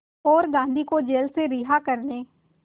और गांधी को जेल से रिहा करने